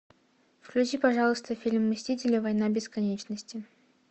включи пожалуйста фильм мстители война бесконечности